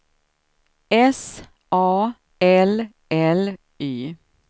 S A L L Y